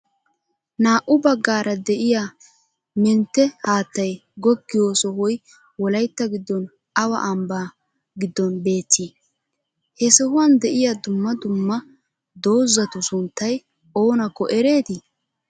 Naa"u baggaaara de'iya menttee haattay goggiyoo sohoy wolaytta giddon awa ambna giddon beetti? He sohuwan de'iyaa duummaa duummaa doozatu sunttay oonakko eereti?